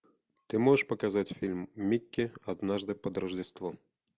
ты можешь показать фильм микки однажды под рождество